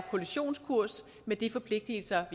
kollisionskurs med de forpligtelser